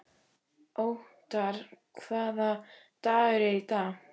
Othar, hvaða dagur er í dag?